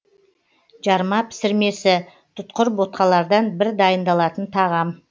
жарма пісірмесі тұтқыр ботқалардан бір дайындалатын тағам